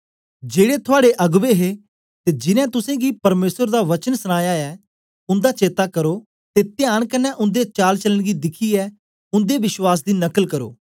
जेड़े थुआड़े अगबें हे ते जिनैं तुसेंगी परमेसर दा वचन सनाया ऐ उन्दा चेता करो ते त्यान कन्ने उन्दे चालचलन गी दिखियै उन्दे विश्वास दी नकल करो